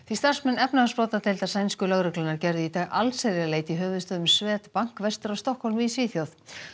starfsmenn efnahagsbrotadeildar sænsku lögreglunnar gerðu í dag allsherjarleit í höfuðstöðvum Swedbank vestur af Stokkhólmi í Svíþjóð